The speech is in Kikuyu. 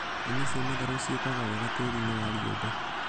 Nyeni cia matharũ ciĩkaga wega tĩĩri-inĩ wa rĩũmba